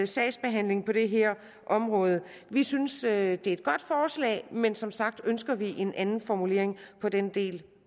sagsbehandling på det her område vi synes det er et godt forslag men som sagt ønsker vi en anden formulering af den del